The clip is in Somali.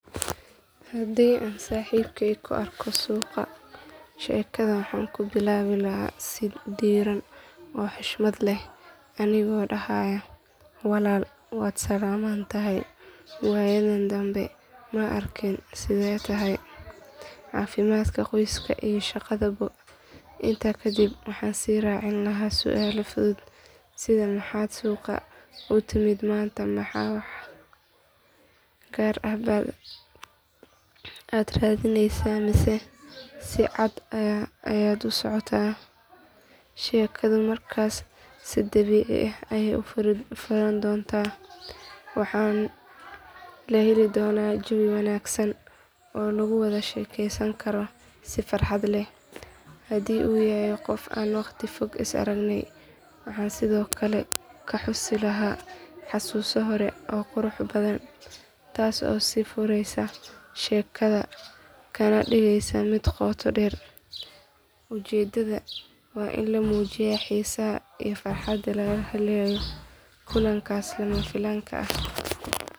Haddii aan saaxiibkay ku arko suuqa sheekada waxaan ku bilaabi lahaa si diirran oo xushmad leh anigoo dhahaaya walaal waad salaaman tahay waayadan danbe ma arkin sidee tahay caafimaadku qoysku iyo shaqaduba. Intaa kadib waxaan sii raacin lahaa su’aalo fudud sida maxaad suuqa u timid maanta ma wax gaar ah baa aad raadineysaa mise si caadi ah ayaad u socotay. Sheekadu markaas si dabiici ah ayay ku furan doontaa waxaana la heli doonaa jawi wanaagsan oo lagu wada sheekaysan karo si farxad leh. Haddii uu yahay qof aan waqti fog is arag waxaan sidoo kale ka xusi lahaa xusuuso hore oo qurux badan taas oo sii fureysa sheekada kana dhigaysa mid qoto dheer. Ujeedadu waa in la muujiyo xiisaha iyo farxadda laga helayo kulankaas lama filaanka ah.